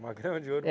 Uma grama de ouro? É